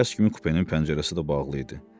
Tərs kimi kupenin pəncərəsi də bağlı idi.